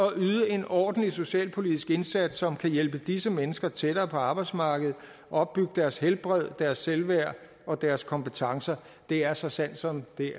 at yde en ordentlig socialpolitisk indsats som kan hjælpe disse mennesker tættere på arbejdsmarkedet opbygge deres helbred deres selvværd og deres kompetencer det er så sandt som det